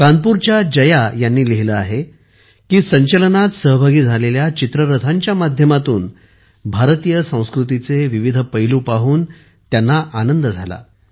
कानपूरच्या जया यांनी लिहिले आहे की संचलनात सहभागी झालेल्या चित्ररथांच्या माध्यमातून भारतीय संस्कृतीचे विविध पैलू पाहून त्यांना आनंद झाला